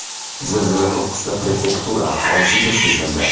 Zilzila to‘qqizta prefektura aholisiga sezildi.